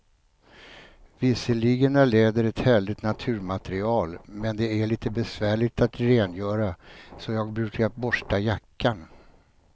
Visserligen är läder ett härligt naturmaterial, men det är lite besvärligt att rengöra, så jag brukar borsta jackan.